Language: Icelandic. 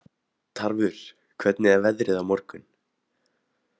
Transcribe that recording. Tarfur, hvernig er veðrið á morgun?